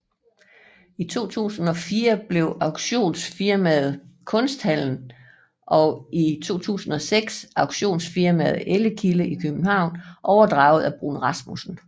I 2004 blev auktionsfirmaet Kunsthallen og i 2006 auktionsfirmaet Ellekilde i København overtaget af Bruun Rasmussen